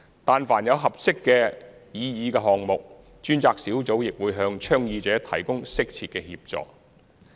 但凡有合適的擬議項目，專責小組亦會向倡議者提供適切的協助。